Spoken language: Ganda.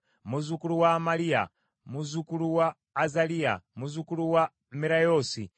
muzzukulu wa Amaliya, muzzukulu wa Azaliya, muzzukulu wa Merayoosi,